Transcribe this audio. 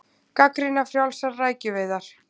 Gagnrýna frjálsar rækjuveiðar